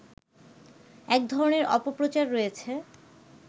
এক ধরনের অপপ্রচার রয়েছে